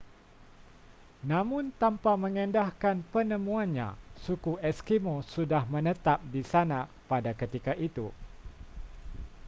namun tanpa mengendahkan penemuannya suku eskimo sudah menetap di sana pada ketika itu